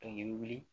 i bɛ wuli